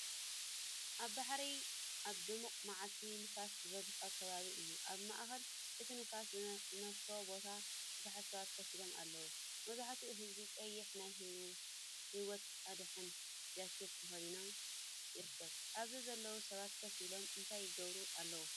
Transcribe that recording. ኣብ ባሕሪ ኣብ ድሙቕ መዓልቲ ንፋስ ዝበዝሖ ከባቢ እዩ። ኣብ ማእከል እቲ ንፋስ ዝነፈሶ ቦታ፡ ብዙሓት ሰባት ኮፍ ኢሎም ኣለዉ። መብዛሕትኡ ህዝቢ ቀይሕ ናይ ህይወት ኣድሕን ጃኬት ተኸዲኑ ይርከብ። ኣብዚ ዘለው ሰባት ኮፍ ኢሎም እንታይ ይገብሩ ኣለው?